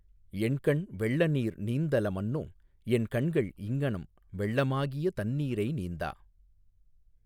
என்கண் வெள்ளநீர் நீந்தல மன்னோ என் கண்கள் இங்ஙனம் வெள்ளமாகிய தந்நீரை நீந்தா.